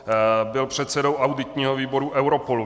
Byl předsedou auditního výboru Europolu.